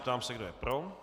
Ptám se, kdo je pro.